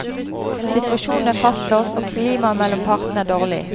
Situasjonen er fastlåst, og klimaet mellom partene er dårlig.